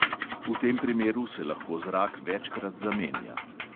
V tem primeru se lahko zrak večkrat zamenja.